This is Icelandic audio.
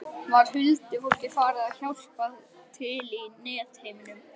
Var huldufólkið farið að hjálpa til í netheimum?